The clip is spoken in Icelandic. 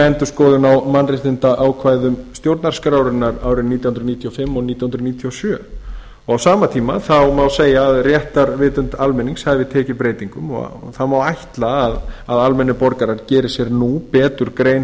endurskoðun á mannréttindaákvæðum stjórnarskrárinnar árin nítján hundruð níutíu og fimm og nítján hundruð níutíu og sjö á sama tíma má segja að réttarvitund almennings hafi tekið breytingum og það má ætla að almennir borgarar geri sér nú betur grein